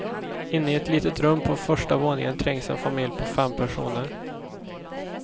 Inne i ett litet rum på första våningen trängs en familj på fem personer.